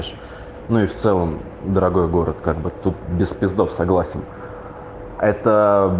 ну и в целом дорогой город как бы тут без пиздов согласен это